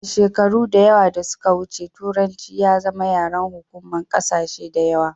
a shekaru da yawa da suka wuce turanci ya zama yaren hukuma kasashe da yawa